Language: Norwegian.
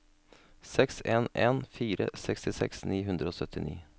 seks en en fire sekstiseks ni hundre og syttini